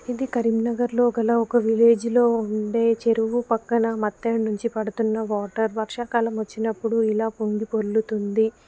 ఇది కరీంనగర్లో గల ఒక్క విల్లెజ్ ఉండే చెరువు పక్కన మత్తెడ నుంచి పడుతున్న వాటర్ వర్షాకాలం వచినపుడు ఎలా పొంగి పొర్లుతుంది